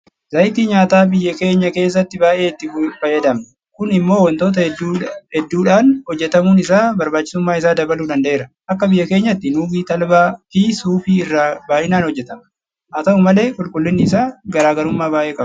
Zayitii nyaataa biyya keenya keessatti baay'ee itti fayyadamna. Kun immoo waantota hedduudhaan hojjetamuun isaa barbaachisummaa isaa dabaluu danda'eera. Akka biyya keenyaatti Nuugii, Talbaafi Suufii irraa baay'inaan hojjetama. Haata'u malee qulqullinni isaa garaa garummaa baay'ee qaba.